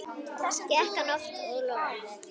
Gekk hann of langt?